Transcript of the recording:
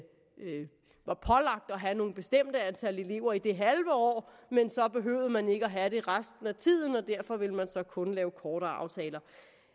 have et bestemt antal elever i det halve år men så behøvede man ikke at have det resten af tiden og derfor ville man så kun lave kortere aftaler